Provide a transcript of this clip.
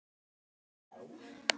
Gröfin var tóm!